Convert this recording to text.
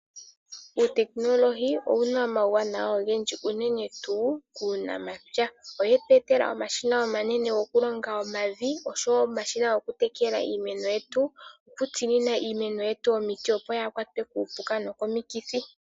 Uutekinolohi owuna omauwanawa ogendji unene tuu kuunamapya. Oye tu etela omashina omanene goku longa omavi, osho woo omashina goku tekela iimeno yetu, oku tsinina iimeno yetu omiti opo yaa kwatwe kuupuka nokomikithi.